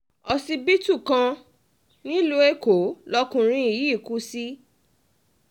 ọsibítù kan nílùú èkó lọkùnrin yìí kù sí